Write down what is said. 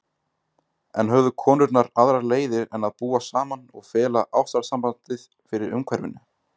En höfðu konurnar aðrar leiðir en að búa saman og fela ástarsambandið fyrir umhverfinu?